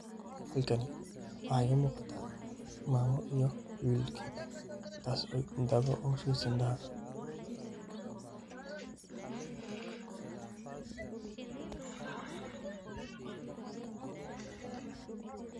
Halkani waxaa igamuuqata maamo iyo wilkedhi taas oo daawo ugushubeyso indaha.